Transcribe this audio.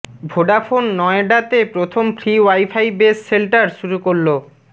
Vodafone নয়ডাতে প্রথম free wifi base shelter শুরু করল